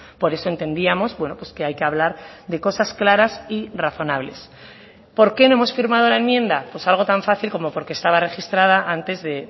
por eso entendíamos bueno pues que hay que hablar de cosas claras y razonables por qué no hemos firmado la enmienda pues algo tan fácil como porque estaba registrada antes de